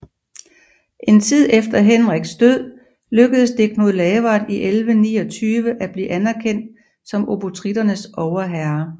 En tid efter Henriks død lykkedes det Knud Lavard i 1129 at blive anerkendt som obotritternes overherre